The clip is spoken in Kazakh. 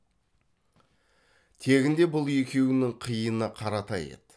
тегінде бұл екеуінің қиыны қаратай еді